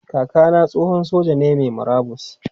Kaka na tsohon soja ne mai murabus.